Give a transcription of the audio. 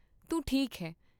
ਤੂੰ ਠੀਕ ਹੈ।